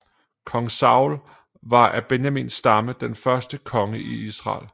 Kong Saul var af Benjamins stamme den første konge i Israel